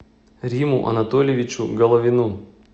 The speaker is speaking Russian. риму анатольевичу головину